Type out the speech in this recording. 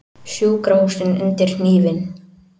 Sjúkrahúsin undir hnífinn